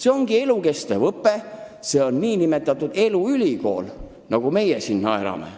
See ongi elukestev õpe, see on nn eluülikool, nagu meie siin naerdes ütleme.